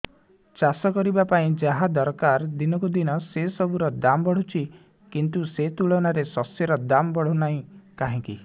ଚାଷ କରିବା ପାଇଁ ଯାହା ଦରକାର ଦିନକୁ ଦିନ ସେସବୁ ର ଦାମ୍ ବଢୁଛି କିନ୍ତୁ ସେ ତୁଳନାରେ ଶସ୍ୟର ଦାମ୍ ବଢୁନାହିଁ କାହିଁକି